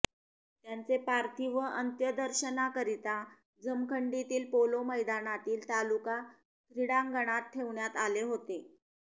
त्यांचे पार्थिव अत्यंदर्शनाकरिता जमखंडीतील पोलो मैदानातील तालुका क्रीडांगणात ठेवण्यात आले होते